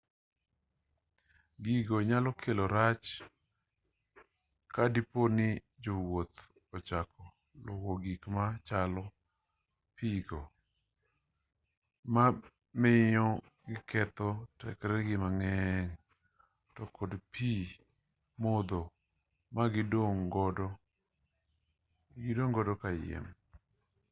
gigo nyalo kelo rach ka dipo ni jowuoth ochako luwo gik machalo pi go ma miyo giketho tekregi mang'eny to kod pi modho ma gidong' godo kayiem